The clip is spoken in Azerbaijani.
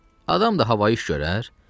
Adam da havayı iş görər?